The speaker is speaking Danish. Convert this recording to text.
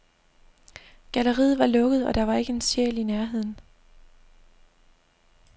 Galleriet var lukket, og der var ikke en sjæl i nærheden.